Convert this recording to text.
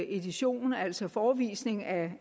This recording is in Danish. edition altså forevisning af